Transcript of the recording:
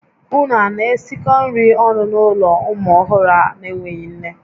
Ụnụ a na-esikọ nri ọnụ n'ụlọ ụmụ ọhụrụ a n'enweghị nne?